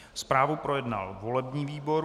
Zprávu projednal volební výbor.